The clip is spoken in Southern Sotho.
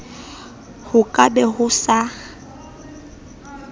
ho ka be ho sa